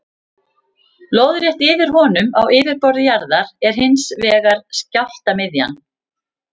Lóðrétt yfir honum á yfirborði jarðar er hins vegar skjálftamiðja.